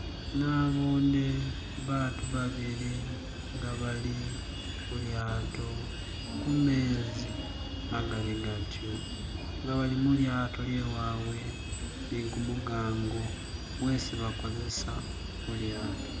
Nabone bantu babili nga bali kulyato kumezi magali gatyo nga bali mulyato lyawe nigumugango gwesi bakozesa kulyato.